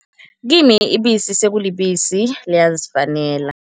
Kimi ibisi sekulibisi, liyazifanela.